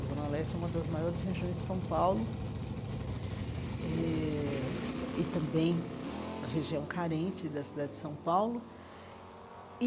A Zona Leste é uma das maiores regiões de São Paulo eh e também região carente da cidade de São Paulo e.